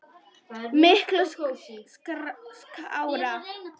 Miklu skárra.